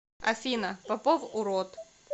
афина попов урод